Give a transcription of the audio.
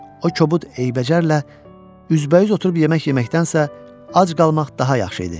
O kobud eybəcərlə üzbəüz oturub yemək yeməkdənsə, ac qalmaq daha yaxşı idi.